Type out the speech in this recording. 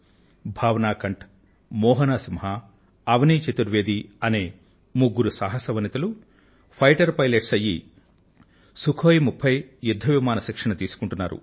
భావనా కంఠ్ మోహనా సింహ్ అవనీ చతుర్వేదీ అనే ముగ్గురు సాహస వనితలు ఫైటర్ పైలెట్స్ అయ్యి సుఖోయి 30 యుద్ధ విమాన శిక్షణ తీసుకుంటున్నారు